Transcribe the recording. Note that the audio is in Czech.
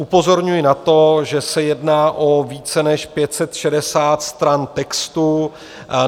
Upozorňuji na to, že se jedná o více než 560 stran textu.